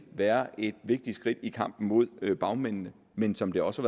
være et vigtigt skridt i kampen mod bagmændene men som det også